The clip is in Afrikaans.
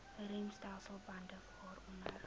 remstelsel bande waaronder